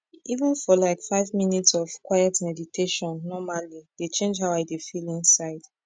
even for like five minutes of quiet meditation normali dey change how i dey feel inside